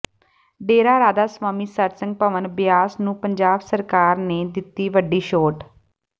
ਡੇਰਾ ਰਾਧਾ ਸਵਾਮੀ ਸਤਿਸੰਗ ਭਵਨ ਬਿਆਸ ਨੂੰ ਪੰਜਾਬ ਸਰਕਾਰ ਨੇ ਦਿੱਤੀ ਵੱਡੀ ਛੋਟ